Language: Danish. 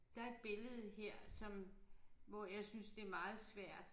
Der et billede her som hvor jeg synes det meget svært